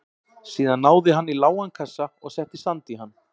Síðan náði hann í lágan kassa og setti sand í hann.